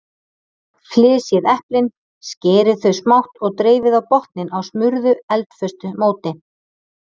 Flysjið eplin, skerið þau smátt og dreifið á botninn á smurðu eldföstu móti.